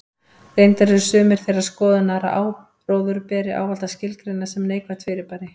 Reyndar eru sumir þeirrar skoðunar að áróður beri ávallt að skilgreina sem neikvætt fyrirbæri.